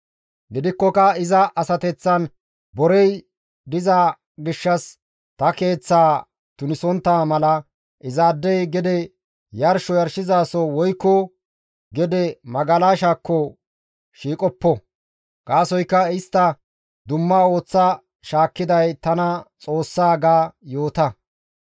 Gidikkoka iza asateththan borey diza gishshas ta keeththaa tunisontta mala izaadey gede yarsho yarshizaso woykko gede magalashakko shiiqoppo; gaasoykka istta dumma ooththa shaakkiday tana Xoossa› gaada yoota.»